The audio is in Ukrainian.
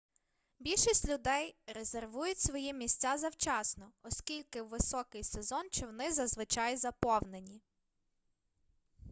більшість людей резервують свої місця завчасно оскільки у високий сезон човни зазвичай заповнені